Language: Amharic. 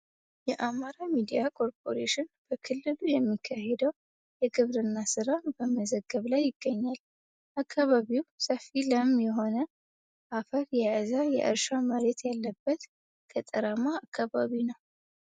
የአማራ ሚዲያ ኮርፖሬሽን በክልሉ የሚካሄደውን የግብርና ስራ በመዘገብ ላይ ይገኛል። አካባቢው ሰፊ ለም የሆነ አፈር የያዘ የእርሻ መሬት ያለበት ገጠራማ አካባቢ ነው።